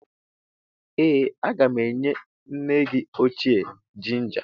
Ee a ga m enye nne gị ochie jinja.